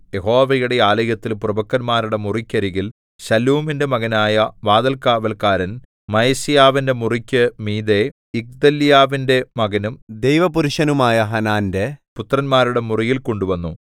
യഹോവയുടെ ആലയത്തിൽ പ്രഭുക്കന്മാരുടെ മുറിക്കരികിൽ ശല്ലൂമിന്റെ മകനായ വാതിൽക്കാവല്ക്കാരൻ മയസേയാവിന്റെ മുറിക്കു മീതെ ഇഗ്ദല്യാവിന്റെ മകനും ദൈവപുരുഷനുമായ ഹാനാന്റെ പുത്രന്മാരുടെ മുറിയിൽ കൊണ്ടുവന്നു